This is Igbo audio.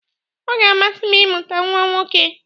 Ọ ga-amasị m imụta nwa nwoke.